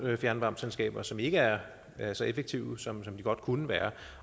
fjernvarmeselskaber som ikke er er så effektive som de godt kunne være